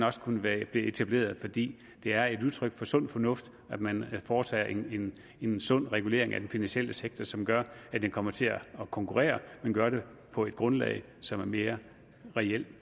også kunne være blevet etableret fordi det er et udtryk for sund fornuft at man foretager en en sund regulering af den finansielle sektor som gør at den kommer til at konkurrere men gøre det på et grundlag som er mere reelt